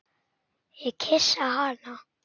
Ég kyssi hana.